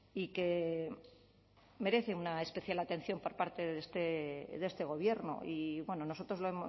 y que merece una especial atención por parte de este gobierno y bueno nosotros lo